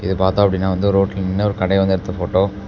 இது பாத்தோம் அப்படினா வந்து ரோட்ல நின்னு ஒரு கடைய வந்து எடுத்த போட்டோ .